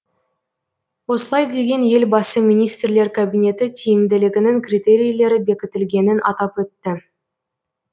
осылай деген елбасы министрлер кабинеті тиімділігінің критерийлері бекітілгенін атап өтті